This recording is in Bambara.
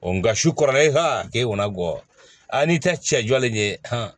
nka su kɔrɔla keyi na gɔ a n'i ta cɛ jɔlen ye